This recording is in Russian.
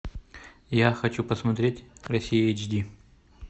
я хочу посмотреть россия эйч ди